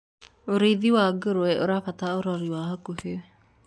ũrĩithi wa ngurwe ũrabatara urori wa hakuhi